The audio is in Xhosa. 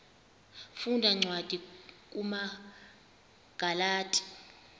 funda cwadi kumagalati